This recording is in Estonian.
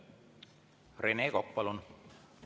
Rene Kokk, palun!